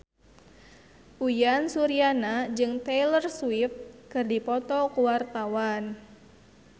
Uyan Suryana jeung Taylor Swift keur dipoto ku wartawan